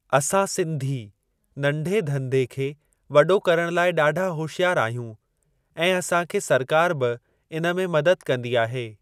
असां सिंधी नंढे धंधे खे वॾो करण लाइ ॾाढा होशयारु आहियूं ऐं असांखे सरकार बि इन में मदद कंदी आहे।